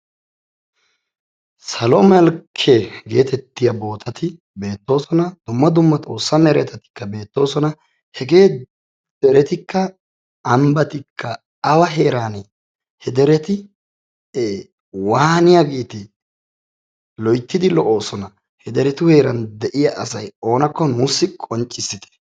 Salo malkke geetettiya bootati beettoosona dumma dumma xoossa meretatikka beettoosona hegee deretikka ambatikka awa heeraane ? ee waaniyageete? loytidi lo'oosona he deretu heeran de'iyaa asati oonakko nuussi qonccisite.